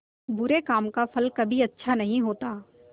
बुरे काम का फल कभी अच्छा नहीं होता